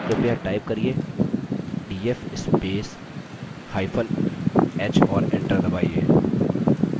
कृपया type करिये df spacehyphen h और enter दबाइए